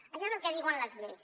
això és el que diuen les lleis